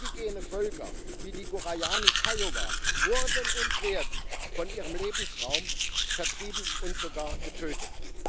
Indigene Völker wie die Guarani Kaiowá wurden und werden von ihrem Lebensraum vertrieben und sogar getötet.